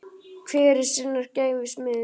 Hver er sinnar gæfu smiður